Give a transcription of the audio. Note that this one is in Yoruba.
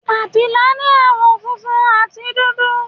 Abila ní àwọ̀ funfun àti dúdú.